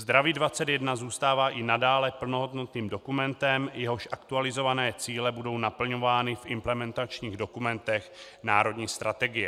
Zdraví 21 zůstává i nadále plnohodnotným dokumentem, jehož aktualizované cíle budou naplňovány v implementačních dokumentech národní strategie.